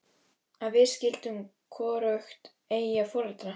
Að við skyldum hvorugt eiga foreldra.